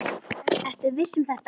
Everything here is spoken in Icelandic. Ertu viss um þetta?